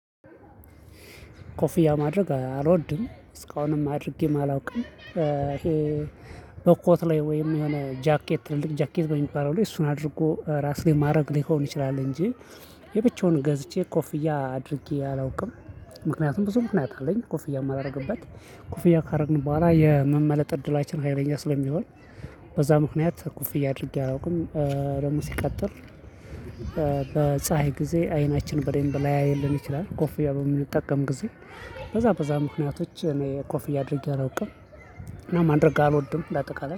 ኮፊያ ማድረግ አልወድም እስካሁንም አድርጌ ማላውቅም ይሄ በኮት ላይ ወይም የሆነ ጃኬት ትልልቅ ጃኬት በሚባለው ላይ እሱን አድርጎ ራስ ላይ ማድረግ ሊሆን ይችላል እንጂ የብቻውን ገዝቼ ኮፍያ አድርጌ አላውቅም። ምክንያቱም ብዙ ምክንያት አለኝ ኮፍያ የማላደርግበት ኮፍያ ካደረግን በኋላ የመመለጥ እድላችን ሀይለኛ ስለሚሆን። በዛ ምክንያት ኩፍያ አድርጌ አያውቅም። ደግሞ ሲቀጥል። በፀሀይ ጊዜ አይናችን በደንብ ላያይ ይችላል ኮፍያ በምንጠቀም ጊዜ። በዛ በዛ ምክንያቶች እኔ ኮፍያ አድርጌ አላውቅም። እና ማድረግ አልወድም ለአጠቃላይ